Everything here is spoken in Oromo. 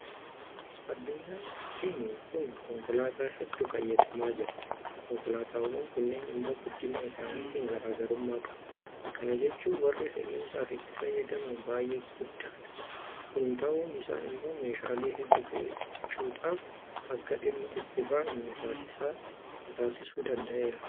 Addunyaan keenya kun konkolaataa hedduu fayyadamaa jirti. Konkolaataawwan kunneen immoo guddina isaaniitiin garaa garummaa qabu. Kana jechuun warri fe'isaaf itti fayyadamnu baay'ee guddaadha. Kun ta'uun isaa immoo meeshaalee hedduu fe'achuudhaaf akka dhimma itti baanu nutaasisuu danda'eera.